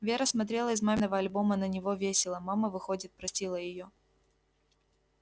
вера смотрела из маминого альбома на него весело мама выходит простила её